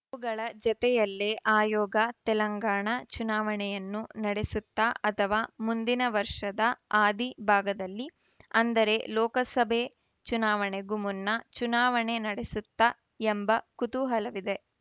ಅವುಗಳ ಜತೆಯಲ್ಲೇ ಆಯೋಗ ತೆಲಂಗಾಣ ಚುನಾವಣೆಯನ್ನೂ ನಡೆಸುತ್ತಾ ಅಥವಾ ಮುಂದಿನ ವರ್ಷದ ಆದಿ ಭಾಗದಲ್ಲಿ ಅಂದರೆ ಲೋಕಸಭೆ ಚುನಾವಣೆಗೂ ಮುನ್ನ ಚುನಾವಣೆ ನಡೆಸುತ್ತಾ ಎಂಬ ಕುತೂಹಲವಿದೆ